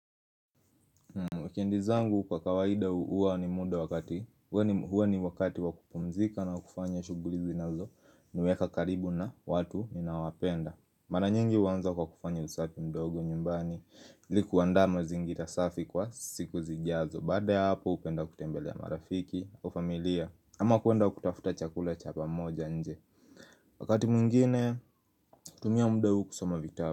Wikendi zangu kwa kawaida huwa ni muda wakati huwa ni wakati wa kupumzika na wa kufanya shughuli zinazo niweka karibu na watu ninawapenda Mara nyingi huanza kwa kufanya usafi mdogo nyumbani ilikuandaa mazingira safi kwa siku zijazo Baada ya hapo hupenda kutembelea marafiki au familia ama kuenda kutafuta chakula cha pamoja nje Wakati mwingine hutumia muda huu kusoma vitabu.